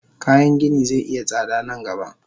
Kayan gini ze iya tsada nan gaba.